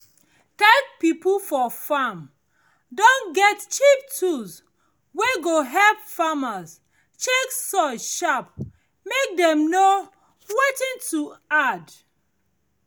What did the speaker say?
tech pipo for farm don get cheap tools wey go help farmers check soil sharp mek dem know wetin to add.